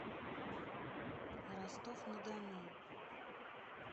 ростов на дону